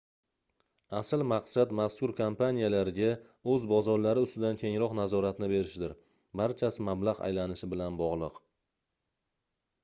asl maqsad mazkur kompaniyalarga oʻz bozorlari ustidan kengroq nazoratni berishdir barchasi mablagʻ aylanishi bilan bogʻliq